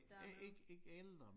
Ikke ældre